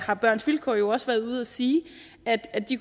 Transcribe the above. har børns vilkår jo også været ude at sige at de